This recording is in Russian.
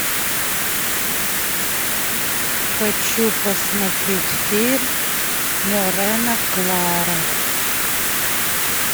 хочу посмотреть фильм морена клара